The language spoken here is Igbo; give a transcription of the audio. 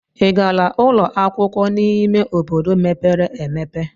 Ị gara ụlọ akwụkwọ n'ime obodo mepere emepe?